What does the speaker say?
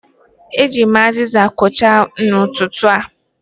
Eji m aziza kwochaa n'ụtụtụ a.